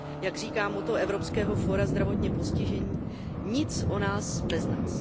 Jak říká moto evropského fóra zdravotně postižených Nic o nás bez nás.